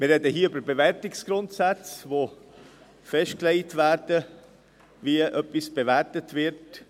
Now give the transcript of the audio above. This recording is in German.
Wir sprechen hier über Bewertungsgrundsätze, welche festlegen, wie etwas bewertet wird.